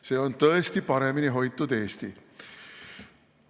See on tõesti paremini hoitud Eesti!